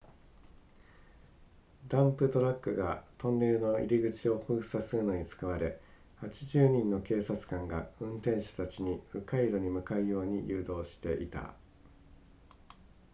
ダンプトラックがトンネルの入口を封鎖するのに使われ80人の警察官が運転者たちに迂回路に向かうように誘導していた